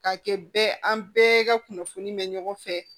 K'a kɛ bɛɛ an bɛɛ ka kunnafoni bɛ ɲɔgɔn fɛ